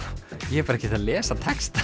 ég er bara ekkert að lesa textann